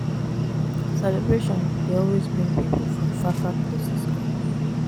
Celebration dey always bring pipu from far far places come.